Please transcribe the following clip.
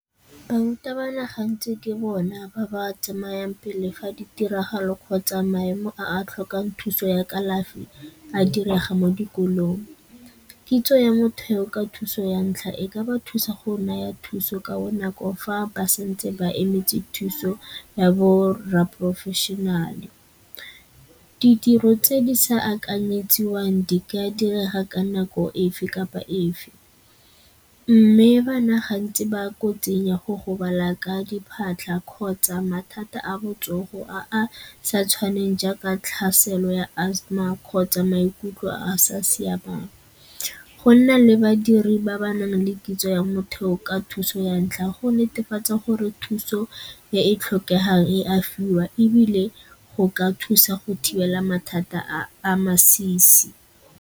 Barutabana gantsi ke bona ba ba tsamayang pele fa di tiragalo kgotsa maemo a a tlhokang thuso ya kalafi a direga mo dikolong. Kitso ya motheo ka thuso ya ntlha e ka ba thusa go naya thuso ka bonako fa ba santse ba emetse thuso ya borra professional-e. Ditiro tse di sa akanyetsiwang di ka direga ka nako efe kapa efe mme bana gantsi ba kotsing ya go gobala ka diphatlha kgotsa mathata a botsogo a a sa tshwaneng jaaka tlhaselo ya Asthma kgotsa maikutlo a a sa siamang. Go nna le badiri ba ba nang le kitso ya motheo ka thuso ya ntlha go netefatsa gore thuso e e tlhokegang e a fiwa ebile go ka thusa go thibela mathata a a masisi.